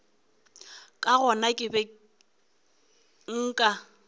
ka gona ke be nka